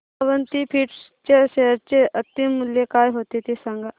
Avanti feeds च्या share चे अंतिम मूल्य काय होते ते सांगा